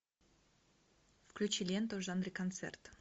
включи ленту в жанре концерт